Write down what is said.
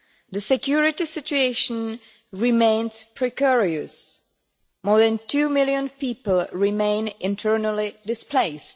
The security situation remains precarious. More than two million people remain internally displaced.